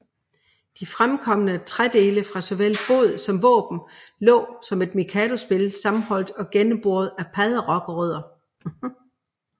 De fremkomne trædele fra såvel båd som våben lå som et mikadospil sammenholdt og gennemboret af padderokrødder